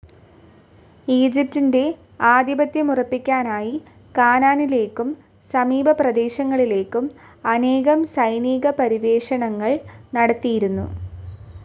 ഈജിപ്തിന്റെ ആധിപത്യമുറപ്പിക്കാനായി കാനാനിലേയ്ക്കും സമീപ പ്രദേശങ്ങളിലേക്കും അനേകം സൈനിക പര്യവേഷണങ്ങൾ നടത്തിയിരുന്നു.